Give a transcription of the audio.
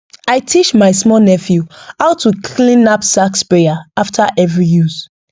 i teach my small nephew how to clean knapsack sprayer after every use